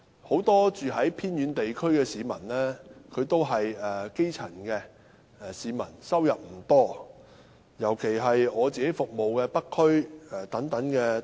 很多住在偏遠地區的市民均屬基層，收入不多，尤其是我服務的北區。